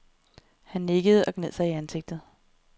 Han nikkede og gned sig i ansigtet.